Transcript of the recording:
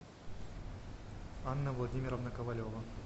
анна владимировна ковалева